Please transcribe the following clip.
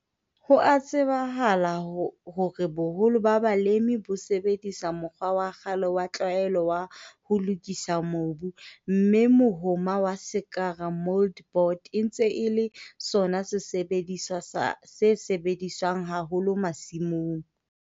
Ho a tsebahala hore boholo ba balemi bo sebedisa mokgwa wa kgale, wa tlwaelo wa ho lokisa mobu. Mme mohoma wa sekara mouldboard e ntse e le sona sesebediswa sa se sebediswang haholo masimong.